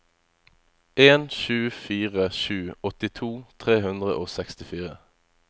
en sju fire sju åttito tre hundre og sekstifire